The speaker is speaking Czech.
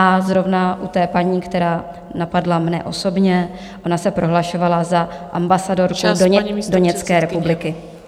A zrovna u té paní, která napadla mne osobně - ona se prohlašovala za ambasadorku Doněcké republiky.